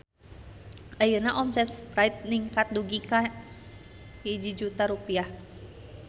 Ayeuna omset Sprite ningkat dugi ka 1 juta rupiah